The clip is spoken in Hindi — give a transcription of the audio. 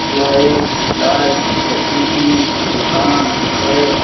यहाँ एक चाय कॉफ़ी की दुकान है।